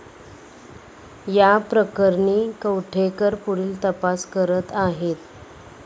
या प्रकरणी कवठेकर पुढील तपास करत आहेत.